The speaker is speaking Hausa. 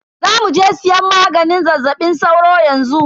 Zamuje siyan maganin zazzaɓin sauro yanxu.